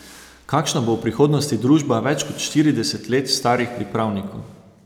Kakšna bo v prihodnosti družba več kot štirideset let starih pripravnikov?